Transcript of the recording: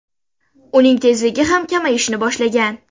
Uning tezligi ham kamayishni boshlagan.